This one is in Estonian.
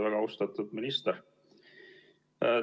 Väga austatud minister!